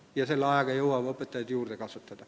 Vahepealse ajaga jõuab õpetajaid juurde kasvatada.